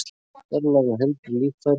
Fjarlægðu heilbrigð líffæri